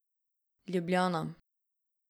Ljubljana.